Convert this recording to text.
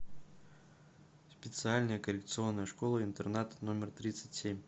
специальная коррекционная школа интернат номер тридцать семь